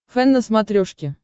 фэн на смотрешке